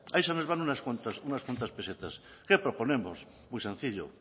ahí se nos van unas cuentas pesetas qué proponemos muy sencillo